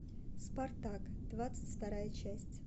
спартак двадцать вторая часть